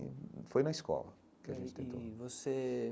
Foi na escola que a gente tentou e você.